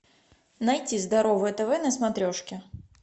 найти здоровое тв на смотрешке